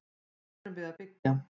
Hvað erum við að byggja?